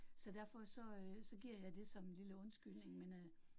Så derfor så øh så giver jeg det som en lille undskyldning men øh